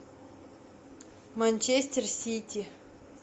манчестер сити